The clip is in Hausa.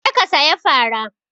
Je ka saya fara!